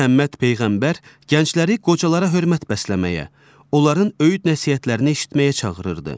Məhəmməd Peyğəmbər gəncləri qocalara hörmət bəsləməyə, onların öyüd-nəsihətlərini eşitməyə çağırırdı.